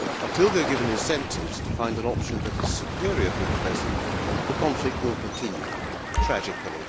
Until they are given incentives to find an option that is superior to the present, the conflict will continue, tragically.